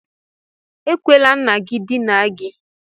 Ekwela nna gị dinaa gị!